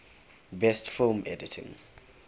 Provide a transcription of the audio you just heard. best film editing